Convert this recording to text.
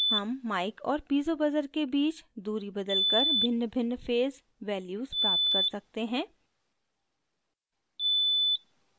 हम mic और piezo buzzer के बीच दूरी बदलकर भिन्नभिन्न phase values प्राप्त कर सकते हैं